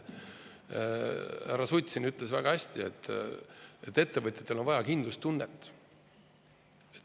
Härra Sutt siin ütles väga hästi, et ettevõtjatel on vaja kindlustunnet.